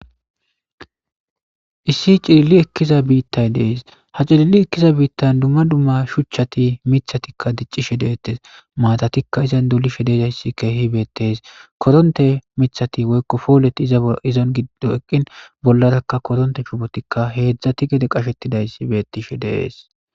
Issi cilili ekiza bitay des ha cilili ekiza btita dumma dumma shuchati mithatika dicishe detes matatika izandolishe dizaysi kehi betes koronte poloti iza gidon eqin bolaraka koronte shuboti hezhatika ged qashetidaysi betishe de'es